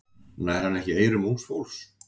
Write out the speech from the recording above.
Nær hann ekki eyrum ungs fólks?